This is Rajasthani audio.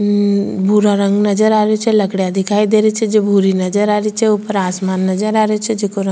हम्म भूरा रंग नजर आ रहियो छे लकडिया दिखाई दे रही छे जे भूरी नजर आ रही छे ऊपर आसमान नजर आ रहियो छे जेको रंग --